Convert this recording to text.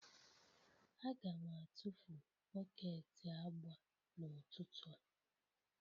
Aga m atụfu bọket agba n'ụtụtụ a.